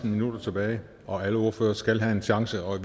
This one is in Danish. minutter tilbage og alle ordførere skal have en chance og